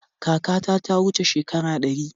Kakata ta wuce shekara ɗari.